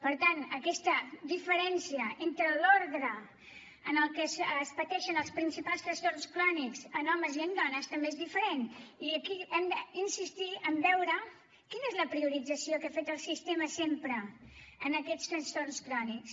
per tant aquesta diferència entre l’ordre en el que es pateixen els principals trastorns crònics en homes i en dones també és diferent i aquí hem d’insistir en veure quina és la priorització que ha fet el sistema sempre en aquests trastorns crònics